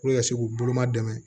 ka se k'u boloma dɛmɛ